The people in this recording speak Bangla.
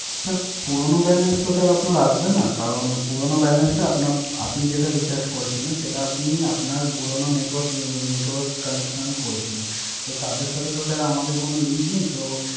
স্যার পুরানো Balance টা তো আর আসবে না। কারন পুরানো Balance টা আপনা আপনি যেটা Recharge সেটা আপনি আপনার পুরানো Network connection এ করেছিলেন। তো তারে সাথে তো আমাদের কোন Link নাই। তো